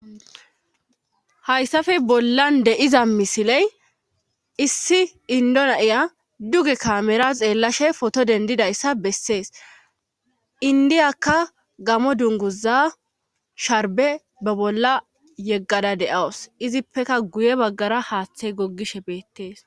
hayssafe bollan de7iza misiley issi indonaiya duge kamera xeellashe foto dendidayssa bessees indiyakka gamo dunguza sharbe ba bolla yeggada de7awus izippeka guye baggara haaththe goggishe beettees